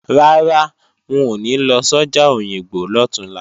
Rárá, wọn ò ní lọ sọ́jà Òyìngbò lọ̀túnla